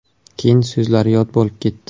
Keyin so‘zlari yod bo‘lib ketdi.